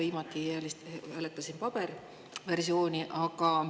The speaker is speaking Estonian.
Viimati hääletasin paberversiooni kasutades.